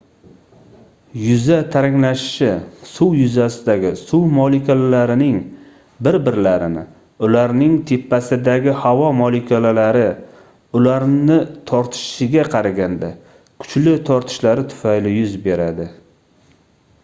yuza taranglashishi suv yuzasidagi suv molekulalarining bir-birlarini ularning tepasidagi havo molekulalari ularni tortishiga qaraganda kuchli tortishlari tufayli yuz beradi